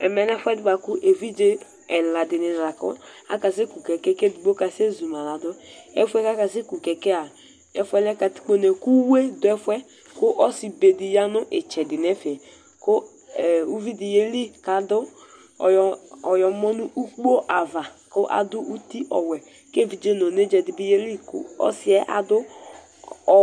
Ɛmɛ lɛ ɛfʋedi bʋakʋ evidze ɛla dini la kɔ akase kʋ kɛkɛ kʋ edigbo asɛzʋma ladʋ Ɛfʋ yɛ kʋ asɛkʋ kɛkɛ yɛa ɛfʋ yɛ ɔlɛ katikpone kʋ uwue dʋ ɛfʋ yɛ kʋ ɔsi bedi yanʋ itsɛdi nʋ ɛfɛ, kʋ ʋvidi yeli kʋ adʋ ayɔmɔ nʋ ʋkpo ava kʋ adʋ uti ɔwɛ kʋ evidze nʋ onedza dibi yeli kʋ ɔsi yɛ adʋ